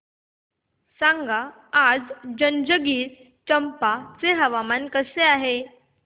सांगा आज जंजगिरचंपा चे हवामान कसे आहे